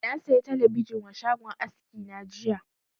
Na saya talabijin wa shagon aski na jiya